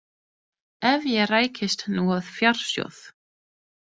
Ef ég rækist nú á fjársjóð.